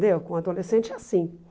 Deu, com o adolescente é assim.